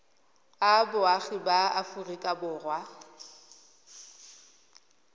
a boagi ba aforika borwa